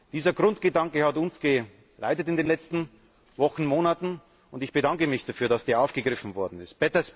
Dieser Grundgedanke hat uns in den letzten Wochen und Monaten geleitet, und ich bedanke mich dafür, dass er aufgegriffen worden ist.